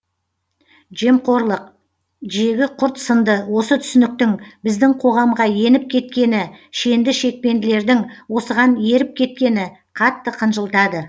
жемқорлық жегі құрт сынды осы түсініктің біздің қоғамға еніп кеткені шенді шекпенділердің осыған еріп кеткені қатты қынжылтады